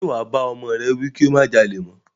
Ṣe wà bá ọmọ rẹ wí kí ó má jalè mọ́?